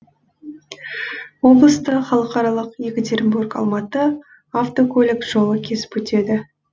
облысты халықаралық екатеринбург алматы автокөлік жолы кесіп өтеді